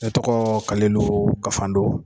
Ne tɔgɔ Kalilu Kafando